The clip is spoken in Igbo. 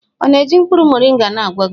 Ọ na-eji mkpụrụ moringa na-agwọ gị?